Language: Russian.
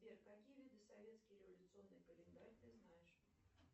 сбер какие виды советский революционный календарь ты знаешь